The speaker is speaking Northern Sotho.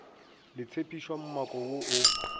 le tshephišwa mmako wo o